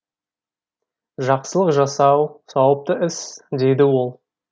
жақсылық жасау сауапты іс дейді ол